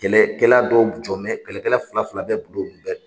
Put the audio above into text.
Kɛlɛ kɛla dɔw jɔn mɛ kɛlɛ kɛla fila fila bɛ bɛɛ la